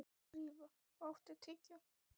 Drífa, áttu tyggjó?